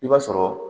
I b'a sɔrɔ